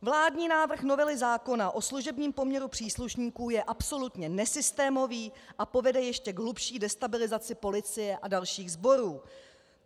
Vládní návrh novely zákona o služebním poměru příslušníků je absolutně nesystémový a povede k ještě hlubší destabilizaci policie a dalších sborů.